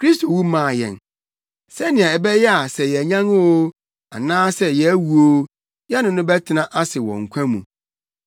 Kristo wu maa yɛn, sɛnea ɛbɛyɛ a sɛ yɛanyan oo, anaa sɛ yɛawu oo, yɛne no bɛtena ase wɔ nkwa mu.